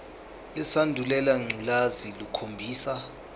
lesandulela ngculazi lukhombisa